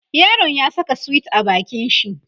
yaron ya Saka sweet a bakin shi